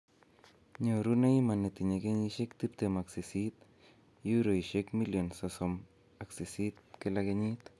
Nyoru Neymar netinye kenyisiek tiptem ak sisit ,Euroishek million sosomak sisit kila kenyit.